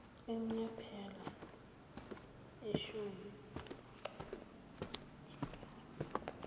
emnyiphela ishoysi yani